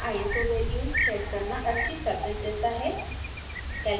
कम iso value set करना अच्छी surface देता है